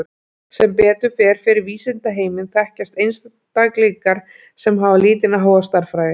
Sem betur fer fyrir vísindaheiminn þekkjast einstaklingar sem hafa lítinn áhuga á stærðfræði.